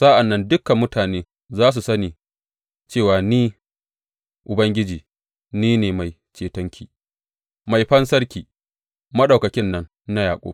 Sa’an nan dukan mutane za su sani cewa ni, Ubangiji, ni ne Mai Cetonki, Mai Fansarki, Maɗaukakin nan na Yaƙub.